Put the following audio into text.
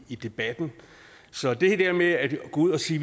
i debatten så det her med at gå ud og sige